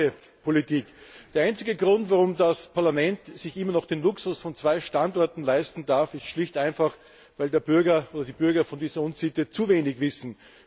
Zur Gebäudepolitik Der einzige Grund, warum das Parlament sich immer noch den Luxus von zwei Standorten leisten darf, ist schlicht und einfach der, dass die Bürger von dieser Unsitte zu wenig wissen.